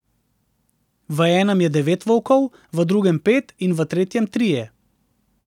V enem je devet volkov, v drugem pet in v tretjem trije.